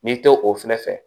N'i tɛ o fɛnɛ fɛ